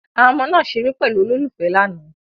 Àwọn ọmọ náà ṣeré pẹ̀lú olólùfẹ́ lánàá